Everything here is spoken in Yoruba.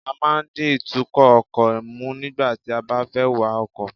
A máa ń di ìtúkò ọkò mú nígbà tí a bá fé wa ọkò